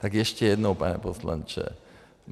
Tak ještě jednou, pane poslanče.